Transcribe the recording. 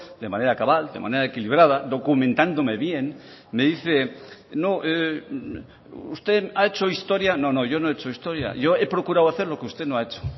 de manera cabal de manera equilibrada documentándome bien me dice usted ha hecho historia no no yo no he hecho historia yo he procurado hacer lo que usted no ha hecho